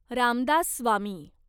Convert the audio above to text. Ramdas Swami